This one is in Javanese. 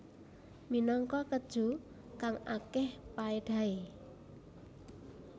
Minangka keju kang akeh paedahe